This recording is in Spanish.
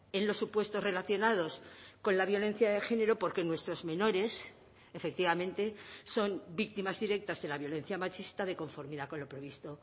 en los supuestos relacionados con la violencia de género porque nuestros menores efectivamente son víctimas directas de la violencia machista de conformidad con lo previsto